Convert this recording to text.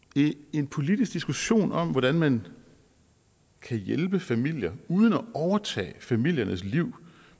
en politisk diskussion om hvordan man kan hjælpe familier uden at overtage familiernes liv